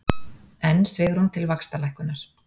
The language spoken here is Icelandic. Enn svigrúm til vaxtalækkunar